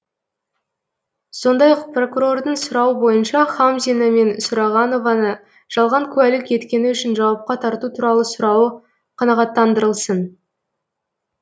сондай ақ прокурордың сұрауы бойынша хамзина мен сұрағанованы жалған куәлік еткені үшін жауапқа тарту туралы сұрауы қанағаттандырылсын